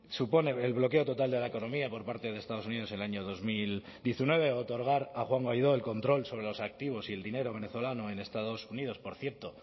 supone el bloqueo total de la economía por parte de estados unidos en el año dos mil diecinueve otorgar a juan guaidó el control sobre los activos y el dinero venezolano en estados unidos por cierto